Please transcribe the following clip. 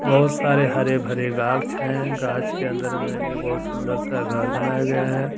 बहुत सारे हरेभरे गावश है गाछ के अंदर में ही बहुत सुंदर सा घर बनाया गया है ।